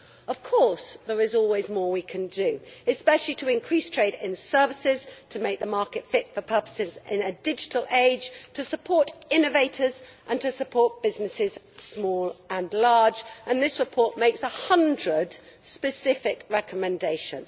Of course there is always more we can do, especially to increase trade in services, to make the market fit for purpose in a digital age, to support innovators and to support businesses, small and large, and this report makes 100 specific recommendations.